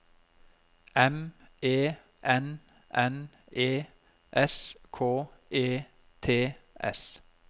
M E N N E S K E T S